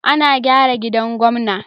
Ana gyara gidan gwamna.